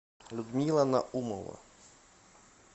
людмила наумова